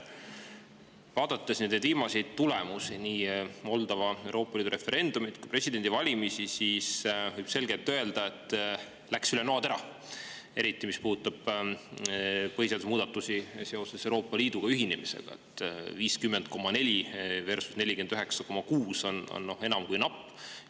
Kui vaadata nii Moldova viimase Euroopa Liidu referendumi kui ka presidendivalimiste tulemusi, võib selgelt öelda, et need läksid üle noatera, eriti mis puudutab põhiseaduse muudatusi seoses Euroopa Liiduga ühinemisega: 50,4% versus 49,6% on enam kui napp.